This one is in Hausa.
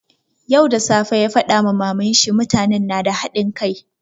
Yau da safe ya faɗa ma maman shi, mutanen nada hadin kai.